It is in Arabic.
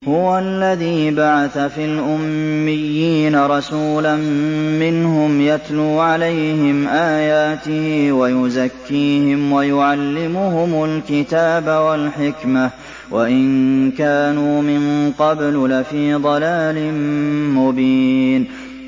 هُوَ الَّذِي بَعَثَ فِي الْأُمِّيِّينَ رَسُولًا مِّنْهُمْ يَتْلُو عَلَيْهِمْ آيَاتِهِ وَيُزَكِّيهِمْ وَيُعَلِّمُهُمُ الْكِتَابَ وَالْحِكْمَةَ وَإِن كَانُوا مِن قَبْلُ لَفِي ضَلَالٍ مُّبِينٍ